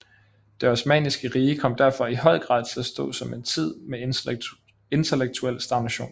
Det osmanniske rige kom derfor i høj grad til at stå som en tid med intellektuel stagnation